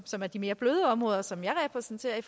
som er de mere bløde områder som jeg repræsenterer